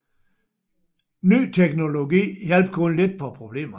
Ny teknologi hjalp kun lidt på problemerne